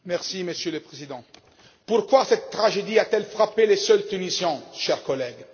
Monsieur le Président, pourquoi cette tragédie a t elle frappé les seuls Tunisiens, chers collègues?